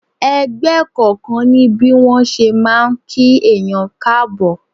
Ẹgbẹ́ kọ̀ọ̀kan ní bí wọn ṣe máa ń kí èèyàn káàbọ̀.